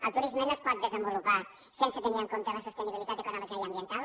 el turisme no es pot desenvolupar sense tenir en compte la sostenibilitat econòmica i ambiental